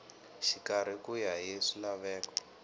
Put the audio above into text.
xikarhi ku ya hi swilaveko